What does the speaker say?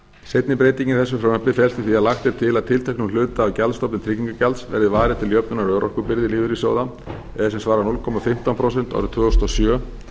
seinni breytingin í þessu frumvarpi felst í því að lagt er til að tilteknum hluta af gjaldstofni tryggingagjalds verði varið til jöfnunar örorkubyrði lífeyrissjóða eða sem svarar núll komma fimmtán prósent árið tvö þúsund og sjö